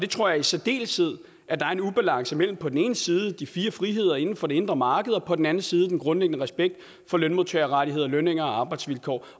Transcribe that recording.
tror i særdeleshed at der er en ubalance imellem på den ene side de fire friheder inden for det indre marked og på den anden side den grundlæggende respekt for lønmodtagerrettigheder lønninger og arbejdsvilkår